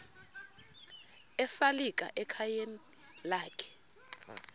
esalika ekhayeni lakhe